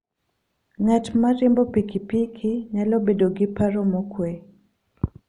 Ng'at ma riembo pikipiki nyalo bedo gi paro mokuwe.